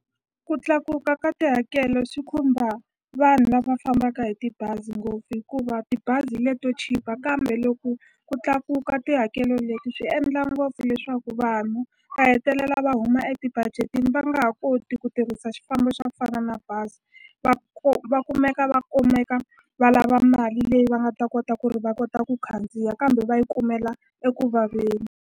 Ku tlakuka ka tihakelo swi khumba vanhu lava fambaka hi tibazi ngopfu hikuva tibazi leto chipa kambe loko ku tlakuka ka tihakelo leti swi endla ngopfu leswaku vanhu va hetelela lava va huma eti budget-ini va nga ha koti ku tirhisa xifambo xa ku fana na bazi va va kumeka va kumeka va lava mali leyi va nga ta kota ku ri va kota ku khandziya kambe va yi kumela ekuvaveni.